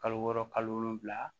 Kalo wɔɔrɔ kalo wolonwula